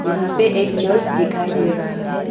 यहाँ पे एक चर्च दिखाई दे रहा है।